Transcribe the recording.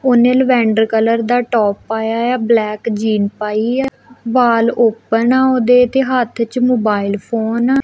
ਉਨੇ lavender colour ਦਾ top ਪਾਇਆ ਆ ਬਲੈਕ ਜੀਨ ਪਾਈ ਆ ਬਾਲ ਓਪਨ ਆ ਉਹਦੇ ਤੇ ਹੱਥ ਚ ਮੋਬਾਈਲ ਫੋਨ --